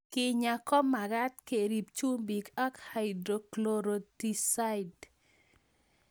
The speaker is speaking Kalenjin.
Kenyaa ko magat kerip chumbik ak hydrochlorothiazide